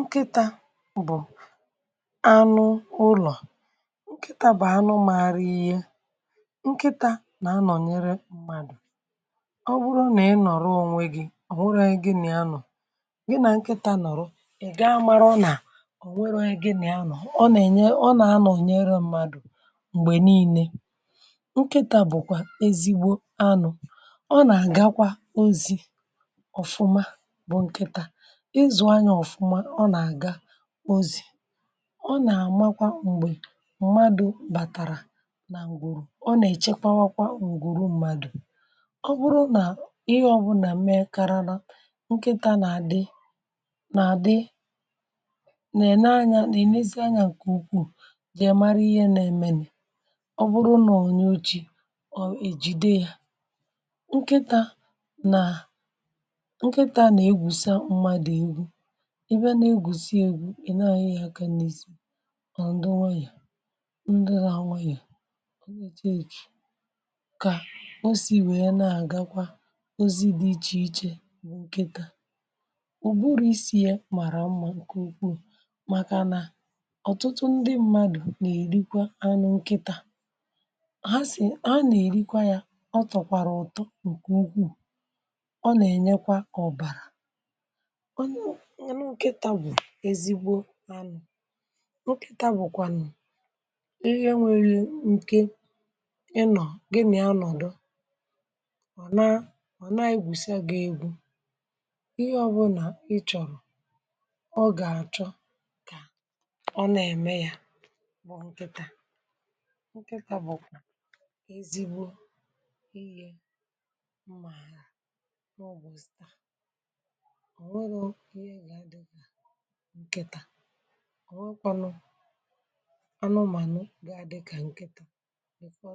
nkịtȧ bụ̀ anụ ụlọ̀ um nkịtȧ bà anụ maghri ihe nkịtȧ nà anọ̀nyere mmadù ọ bụrụ nà ịnọ̀rọ ònwe gị ọ̀hụrụ anyị gị nà ya nọ̀ gị nà nkịtȧ nọ̀rọ ị gaa mara ọ nà ònwere anyị gị nà ya nọ̀ um ọ nà ène ọ nà anọ̀nyere mmadù m̀gbè niilė nkịtȧ bụ̀kwà ezigbo anụ̇ ọ nà àgakwa ozi ọ̀fụma bụ nkịtȧ ọ nà-àmakwa m̀gbè mmadụ̀ bàtàrà nà ǹgwùrù ọ nà-èchekwawakwa ǹgwùrù mmadụ̀ ọ bụrụ nà ihe ọ̀bụlà mee karara nkịtȧ nà-àdị nà-àdị nà-ènye anyȧ nà ènèzi anyȧ nkè ukwuù jì èmara ihe nà-èmenù um ọ bụrụ nà onye oji̇ ọ̀ èjide yȧ nkịtȧ nà nkịtȧ nà egwùsa mmadù egwu ihe gùsie egwu n’ihe yà ọ̀kànị n’isi ọ̀ ndị nwayọ̀ ndị nȧ anwayọ̀ ka o si wèe na-àgakwa ozi dị iche iche nkịtȧ ụ̀bụrụ̇ isi̇ yȧ mara mmȧ nke ukwuu màkà nà ọ̀tụtụ ndị mmadụ̀ n’erikwa anụ nkịtȧ ha sì ha nà-èrikwa yȧ ọ tọ̀kwàrà ọ̀tọ ǹkè ugwuù ọ nà-ènyekwa ọ̀bàrà n’anọ̀ nkèta bụ̀kwànụ̀ ihe nwėrė nke ịnọ̀ gị nà-anọ̀dọ ọ̀ na ọ̀ na-egwùsịa gị egwu̇ ihe ọbụ̇ nà ị chọ̀rọ̀ ọ gà-àchọ kà ọ nà-ème ya bụ̀ nkịtȧ nkịtȧ bụ̀ ezigbo ihe mmà àlà n’ọ̀bụ̀ stȧ ọ̀ nọrọ̀ ihe ga-adị̇ gị̇ ọ̀ nwẹkwanụ anụụmànụ gà àdịkà ǹkẹ̀tà dị̀fọ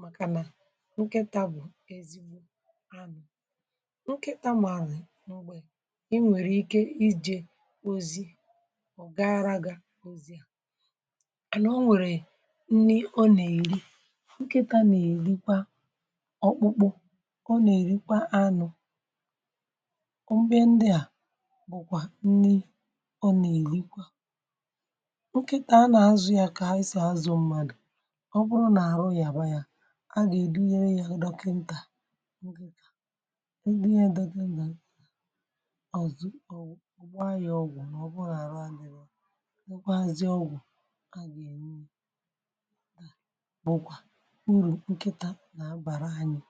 màkà nà ǹkẹ̀tà bụ̀ ezigbo anụ̇ ǹkẹ̀tà màlị̀ n’ugbȯ ị nwèrè ike ijė ozi ọ̀ gara gà ozi à nà o nwèrè nni ọ nà èri ǹkẹ̀tà nà èrikwa ọkpụkpụ kà ọ nà èrikwa anụ̇ nkịtà a nà-àzụ ya kà a ịsị̀ azụ̀ mmadụ̀ ọ bụrụ̀ nà-àrụ yà bȧyȧ a gà-èdinye ya dọkịntà nke kà e nye dọga nà ọ̀zụ̀ ọ̀wụ̀ ụ̀bụ anyị̇ ọgwụ̀ nà ọ bụrụ̀ nà-àrụ adị̇bȧ ọgwụazị ọgwụ̀ a gà-èni bụ̀kwà urù nkịtà nà-abàra anyị̇